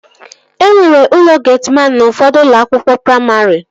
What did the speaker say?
Enwere ụlọ getiman n'ufọdụ ụlọakwụkwọ praimarị